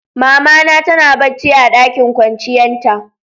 Mama na tana bacci a ɗakin kwanciyan ta.